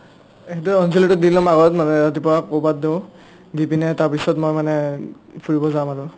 সেইটোয়ে অন্জলীটো দিম লম আগত মানে ৰাতিপুৱা কবাত দিও দি পিনে তাৰপিছত মই মানে ফুৰিব যাম আৰু